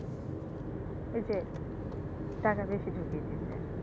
ওই যে টাকা বেশি ঢুকিয়ে দিচ্ছে,